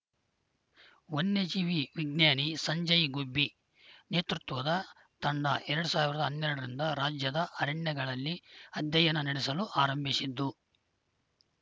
ವನ್ಯಜೀವಿ ವಿಜ್ಞಾನಿ ಸಂಜಯ್‌ ಗುಬ್ಬಿ ನೇತೃತ್ವದ ತಂಡ ಎರಡ್ ಸಾವಿರದ ಹನ್ನೆರಡರಿಂದ ರಾಜ್ಯದ ಅರಣ್ಯಗಳಲ್ಲಿ ಅಧ್ಯಯನ ನಡೆಸಲು ಆರಂಭಿಸಿದ್ದು